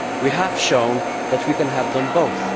We have shown that we can have them both.